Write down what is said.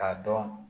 K'a dɔn